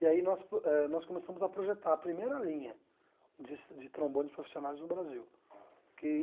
E aí nós eh nós começamos a projetar a primeira linha de de trombones profissionais no Brasil que